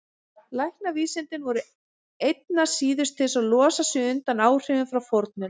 Læknavísindin voru einna síðust til að losa sig undan áhrifum frá fornöld.